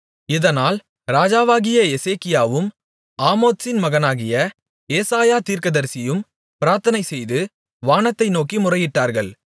இதனால் ராஜாவாகிய எசேக்கியாவும் ஆமோத்சின் மகனாகிய ஏசாயா தீர்க்கதரிசியும் பிரார்த்தனை செய்து வானத்தை நோக்கி முறையிட்டார்கள்